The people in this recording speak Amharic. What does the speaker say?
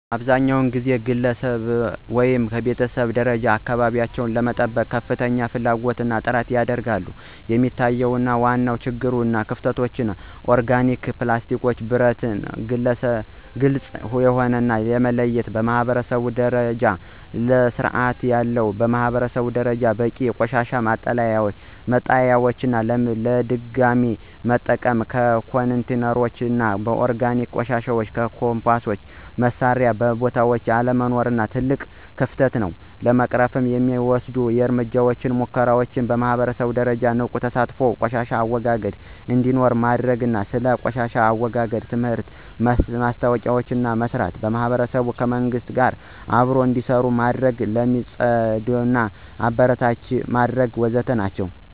አብዛኛውን ጊዜ ከግለሰብ ወይም ከቤተሰብ ደረጃ አካባቢቸውን ለመጠበቅ ከፍተኛ ፍላጎት እና ጥረት ያደርጋሉ፣ የሚታዩት ዋና ዋና ችግሮች እና ክፍተቶች (ኦርጋኒክ፣ ፕላስቲክ፣ ብረት፣ ግልጽ የሆነ) ለመለየት በማኅበረሰብ ደረጃ ስርዓት የለም። በማህበረሰብ ደረጃ በቂ የቆሻሻ መጣሊያዎች፣ ለድገሚ መጠቀም ኮንቴይነሮች እና ለኦርጋኒክ ቆሻሻ የኮምፖስት መስሪያ ቦታዎች አለመኖራቸው ትልቅ ክፍተት ነው። ለመቅረፍ የሚወሰዱ እርምጃዎች (ምክሮች) በማህበረሰብ ደረጃ ንቁ ተሳትፎ ቆሻሻ አወጋገድ እንዴኖረው ማድርግ። ስለ ቆሻሻ አወጋገድ ትምህርትና ማስታወቂያዎችን መስራት። ማህበረሰቡ ከመንግሥት ጋር አብሮ እንዴሰሩ መድረግ። ለሚፅድት ማበረታቻ መድረግ ወዘተ ናቸው።